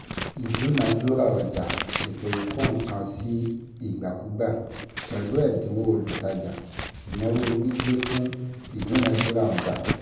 Ìdúnadúrà ọjà (ètò ìkó-nǹkan-sí-ìgbàkúgbà) pẹ̀lú ẹ̀dínwó - olútajà, ìnáwó gbígbé fún Ìdúnadúrà ọjà